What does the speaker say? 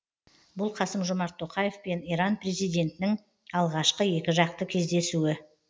бұл қасым жомарт тоқаев пен иран президентінің алғашқы екіжақты кездесуі